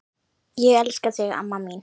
Ég elska þig, amma mín.